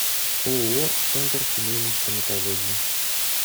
ооо центр семейной стоматологии